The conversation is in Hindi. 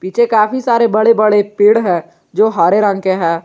पीछे काफी सारे बड़े बड़े पेड़ है जो हरे रंग के हैं।